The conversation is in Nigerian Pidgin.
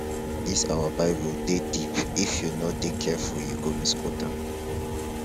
dis our bible dey deep if you no dey careful you go misquote am